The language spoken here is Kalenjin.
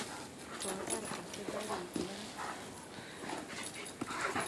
Kopar asikarik maat.